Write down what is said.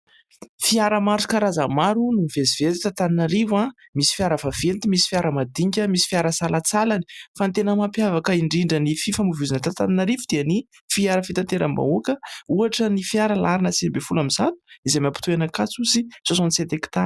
Fiara maro karazany maro no mivezivezy eto Antananarivo an! misy fiara vaventy ,misy fiara mandinika ,misy ny fiara salatsalany. Fa ny tena mampiavaka indrindra ny fifamohivohizana eto Antaninarivo dia ny fiara fitanteram-bahoaka ohatra ny fiara larana siviambifolo amin'izato izay mampitoy an'ny Ankatso sy 67 hekitara.